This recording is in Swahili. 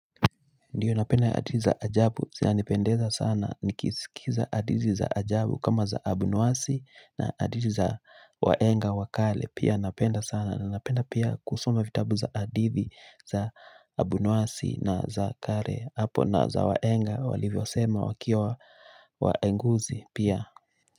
Ndiyo napenda hadithi za ajabu zinanipendeza sana nikisikiza hadithi za ajabu kama za abunwasi na hadithi za waenga wa kale pia napenda sana na napenda pia kusoma vitabu za hadithi za abunwasi na za kale hapo na za wahenga walivyosema wakiwa waenguzi pia.